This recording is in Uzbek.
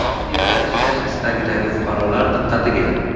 Rossiyada ishlash istagidagi fuqarolar diqqatiga!.